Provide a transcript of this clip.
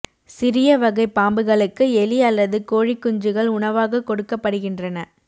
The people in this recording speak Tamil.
சிறிய வகை பாம்புகளுக்கு எலி அல்லது கோழிக் குஞ்சுகள் உணவாக கொடுக்கப்படுகின்றன